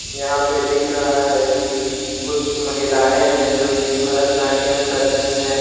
यहां पे दिख रहा है कि कुछ महिलाएं हैं जो की भरतनाट्यम कर रही हैं।